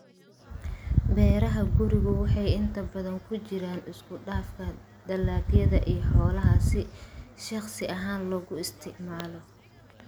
Beeraha gurigu waxay inta badan ku jiraan isku dhafka dalagyada iyo xoolaha si shakhsi ahaan loogu isticmaalo.